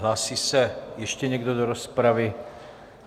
Hlásí se ještě někdo do rozpravy?